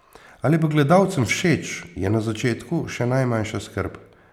Ali bo gledalcem všeč, je na začetku še najmanjša skrb.